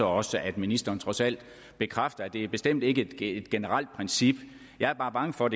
også at ministeren trods alt bekræfter at det bestemt ikke er et generelt princip jeg er bare bange for